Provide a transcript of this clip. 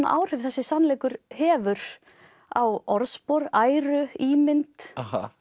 áhrif þessi sannleikur hefur á orðspor æru ímynd